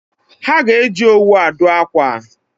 Ha ga-eji owu adụ akwa